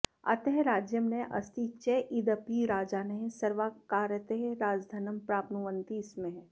अतः राज्यं नास्ति चेदपि राजानः सर्वकारतः राजधनं प्राप्नुवन्ति स्म